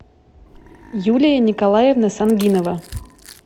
юлия николаевна сангинова